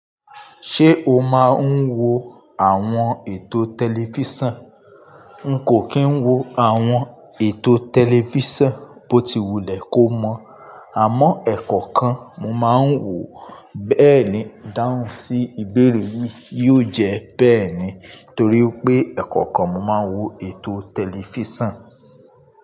Ṣé o máa ń wo àwọn ètò tẹlifísàn? N kò kín wo àwọn ètò tẹlifísàn bó ti wulẹ̀ kó mọ̀, àmọ́ ẹ̀kọ̀kan mo máa ń wòó. Bẹ́ẹ̀ ni, dáhùn sí ìbéèrè wí yóò jẹ bẹ́ẹ̀ ni, torí pé ẹ̀kọ̀kan mo máa ń wo ètò tẹlifísàn.